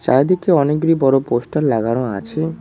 চারিদিকে অনেকগুলি বড় পোস্টার লাগানো আছে।